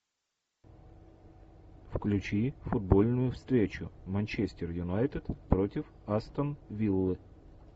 включи футбольную встречу манчестер юнайтед против астон виллы